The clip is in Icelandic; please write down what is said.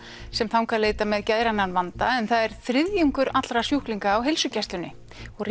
sem þangað leita með geðrænan vanda en það er þriðjungur allra sjúklinga á heilsugæslunni